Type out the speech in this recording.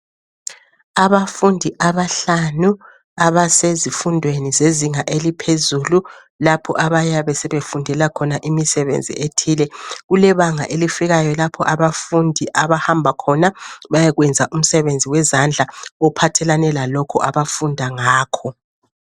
Abafundi abahlanu abasezifundweni zezinga eliphezulu, lapho abayabe sebefundela khona imisebenzi ethile. Kulebanga elifikayo lapho abafundi abahamba khona bayekwenzi umsebenzi wezandla ophathelane lalokhu abafunda ngakho.